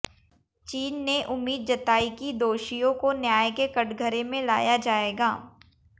चीन ने उम्मीद जतायी कि दोषियों को न्याय के कटघरे में लाया जाएगा